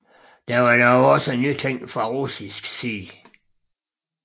Der var dog også nytænkning fra russisk side